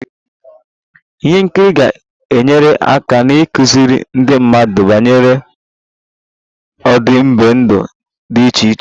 Ihe nkiri ga-enyere aka n'ịkụziri ndị mmadụ banyere ọdịbendị dị iche iche